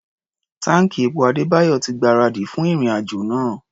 Táǹkì epo Adébáyọ̀ ti gbáradì fún ìrìn-àjò náà.